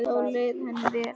Þá leið henni vel.